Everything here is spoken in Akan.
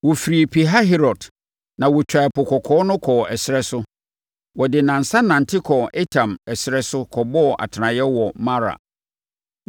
Wɔfiri Pihahirot, na wɔtwaa Ɛpo Kɔkɔɔ no kɔɔ ɛserɛ so. Wɔde nnansa nante kɔɔ Etam ɛserɛ so kɔbɔɔ atenaeɛ wɔ Mara.